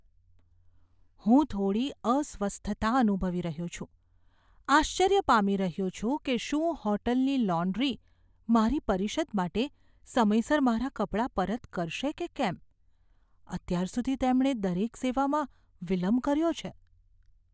હું થોડી અસ્વસ્થતા અનુભવી રહ્યો છું, આશ્ચર્ય પામી રહ્યો છું કે શું હોટલની લોન્ડ્રી મારી પરિષદ માટે સમયસર મારા કપડાં પરત કરશે કે કેમ. અત્યાર સુધી તેમણે દરેક સેવામાં વિલંબ કર્યો છે.